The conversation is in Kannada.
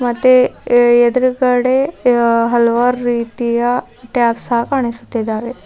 ಮತ್ತೆ ಎದುರುಗಡೆ ಹಲವಾರು ರೀತಿಯ ಟ್ಯಾಪ್ ಸಹ ಕಾಣಿಸ್ತಿದಾವೆ.